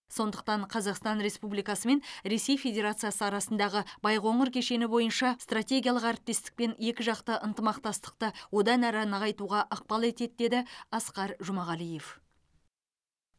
сондай ақ қазақстан республикасы мен ресей федерациясы арасындағы байқоңыр кешені бойынша стратегиялық әріптестік пен екіжақты ынтымақтастықты одан әрі нығайтуға ықпал етеді деді асқар жұмағалиев